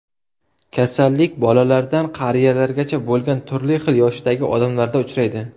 Kasallik bolalardan qariyalargacha bo‘lgan turli xil yoshdagi odamlarda uchraydi.